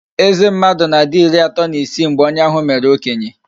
Eze mmadụ na-adi ịrị atọ na isii mgbe onye ahụ mere okenye